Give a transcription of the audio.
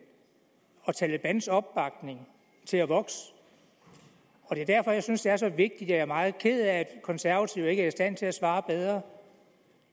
og talebans opbakning til at vokse og det er derfor jeg synes det er så vigtigt og jeg er meget ked af at konservative ikke er i stand til at svare bedre